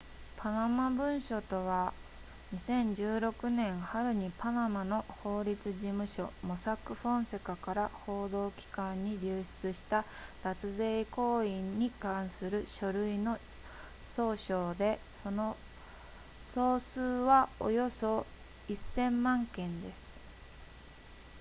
「パナマ文書とは」、2016年春にパナマの法律事務所モサック・フォンセカから報道機関に流出した脱税行為に関する書類の総称で、その総数はおよそ1000万件です